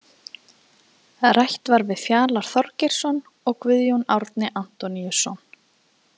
Rætt var við Fjalar Þorgeirsson og Guðjón Árni Antoníusson.